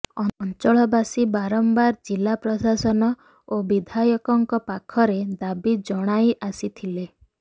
ଅଞ୍ଚଳବାସୀ ବାରମ୍ବାର ଜିଲ୍ଲା ପ୍ରଶାସନ ଓ ବିଧାୟକଙ୍କ ପାଖରେ ଦାବି ଜଣାଇଆସିଥିଲେ